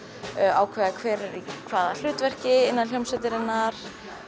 ákveða hver er í hvaða hlutverki innan hljómsveitarinnar